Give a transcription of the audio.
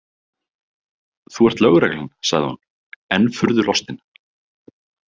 Þú ert lögreglan, sagði hún, enn furðu lostin.